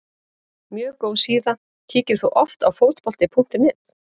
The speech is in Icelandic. Mjög góð síða Kíkir þú oft á Fótbolti.net?